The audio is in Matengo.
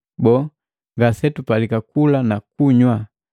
Boo, ngasetupalika kula na kunywa?